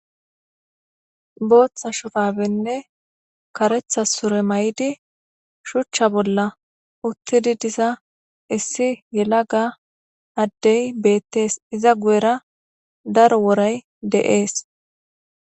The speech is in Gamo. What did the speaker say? Booththa shufabenne karetha sure may'di shuchcha bolla uttidi diza issi yelaga addey beettees iza guyera daro woray de'ees.